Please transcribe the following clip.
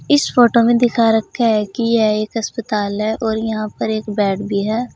इस फोटो में दिखा रखा है कि यह एक अस्पताल है और यहां पर एक बेड भी है।